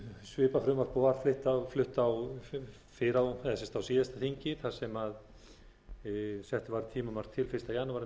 svipað frumvarp og var flutt á síðasta þingi þar sem sett voru tímamörk til fyrsta janúar tvö þúsund og níu nú er verið að framlengja það